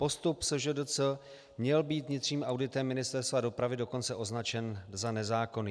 Postup SŽDC měl být vnitřním auditem Ministerstva dopravy dokonce označen za nezákonný.